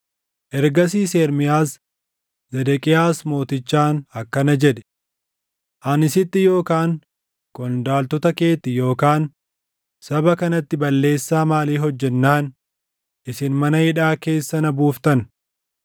Ergasiis Ermiyaas, Zedeqiyaas mootichaan akkana jedhe; “Ani sitti yookaan qondaaltota keetti yookaan saba kanatti balleessaa maalii hojjennaan isin mana hidhaa keessa na buuftan?